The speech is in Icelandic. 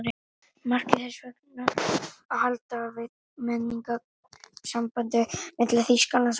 Markmið þess væri að halda við menningarlegu sambandi milli Þýskalands og allra